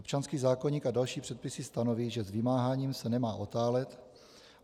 Občanský zákoník a další předpisy stanoví, že s vymáháním se nemá otálet.